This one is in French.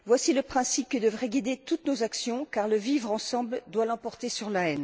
Voici le principe qui devrait guider toutes nos actions, car le vivre ensemble doit l'emporter sur la